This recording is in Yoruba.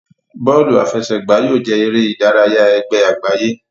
Bóòlù àfẹsẹ̀gbá yóò jẹ eré ìdárayá ègbé àgbáyé.